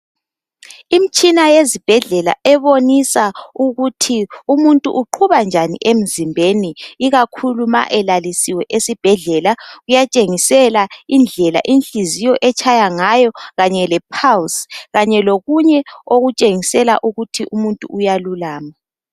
Imitshina yezibhedlela ebonisa ukuthi umuntu uqhuba njani emzimbeni. Ikakhulu ma elalisiwe esibhedlela. Kuyatshengisa ukuthi inhliziyo itshaya njani, kanye lapulse. Kanye lokunye okutshengisela ukuthi umuntu uyalulama.